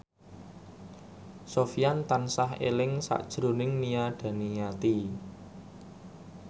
Sofyan tansah eling sakjroning Nia Daniati